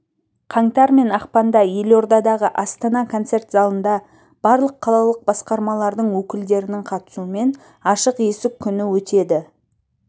қаңтар мен ақпанда елордадағы астана концерт залында барлық қалалық басқармалардың өкілдерінің қатысуымен ашық есік күні өтеді